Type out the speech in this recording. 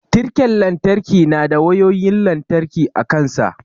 Tirken lantarki na da wayoyin lantarki a kansa.